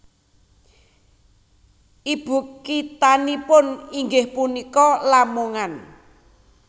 Ibukithanipun inggih punika Lamongan